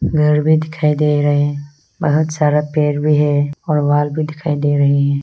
घर भी दिखाई दे रहे हैं बहुत सारा पेड़ भी है और वॉल भी दिखाई दे रहे हैं।